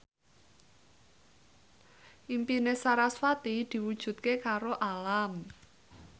impine sarasvati diwujudke karo Alam